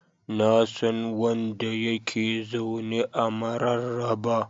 Na san wanda ya ke zaune a Mararaba.